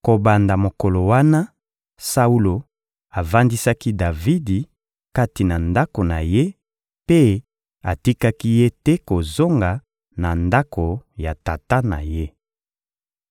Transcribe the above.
Kobanda mokolo wana, Saulo avandisaki Davidi kati na ndako na ye mpe atikaki ye te kozonga na ndako ya tata na ye.